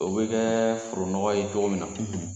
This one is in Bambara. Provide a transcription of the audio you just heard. U bɛ kɛ foro nɔgɔ ye cogo min na,